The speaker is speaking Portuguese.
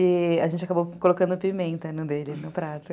E a gente acabou colocando pimenta no dele, no prato.